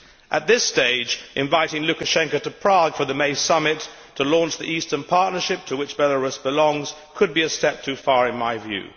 At this stage, inviting Lukashenko to Prague for the May Summit to launch the Eastern Partnership, to which Belarus belongs, could be a step too far in my view.